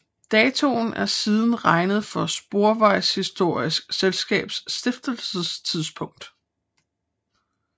Datoen er siden regnet for Sporvejshistorisk Selskabs stiftelsestidspunkt